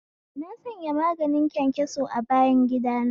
Na sanya maganin kyankyaso a bayangida na